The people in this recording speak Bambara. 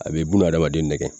A be buna adamaden nɛgɛ